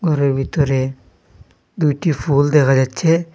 ঘরের ভিতরে দুইটি ফুল দেখা যাচ্ছে।